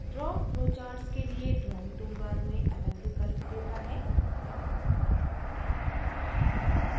draw flowcharts के लिए drawing toolbar में अलग विकल्प देता है